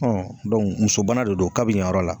muso bana de don ka bi yan yɔrɔ la.